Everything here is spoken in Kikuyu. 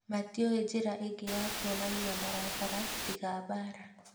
Matiũĩ njĩra ĩngĩ ya kuonania marakara tiga mbara